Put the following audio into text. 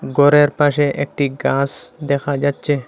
ঘরের পাশে একটি গাস দেখা যাচ্ছে।